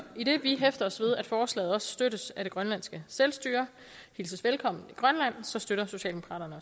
idet vi hæfter os ved at forslaget også støttes af det grønlandske selvstyre og hilses velkommen i grønland så støtter socialdemokraterne